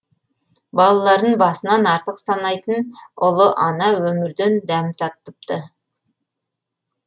балаларын басынан артық санайтын ұлы ана өмірден дәм татыпты